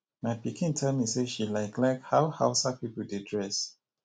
my pikin tell me say she like like how hausa people dey dress